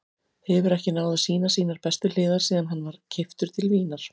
Hefur ekki náð að sýna sínar bestu hliðar síðan hann var keyptur til Vínar.